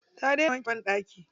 Ta daina wanke banɗaki.